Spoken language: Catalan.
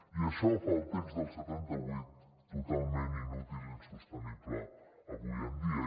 i això fa el text del setanta vuit totalment inútil i insostenible avui en dia